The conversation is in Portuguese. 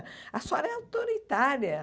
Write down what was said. A senhora é autoritária.